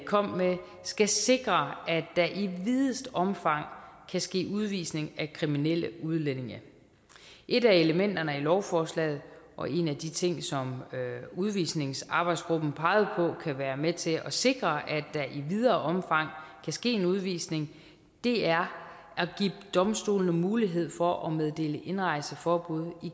kom med skal sikre at der i videst omfang kan ske udvisning af kriminelle udlændinge et af elementerne i lovforslaget og en af de ting som udvisningsarbejdsgruppen pegede på kan være med til at sikre at der i videre omfang kan ske en udvisning er at give domstolene mulighed for at meddele indrejseforbud